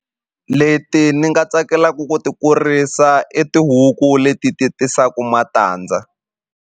Leti ni nga tsakelaku ku ti kurisa i tihuku leti ti tisaku matandza.